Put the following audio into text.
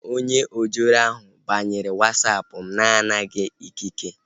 Onye ojoro ahu banyere Wasapụ mụ na-anataghị ikike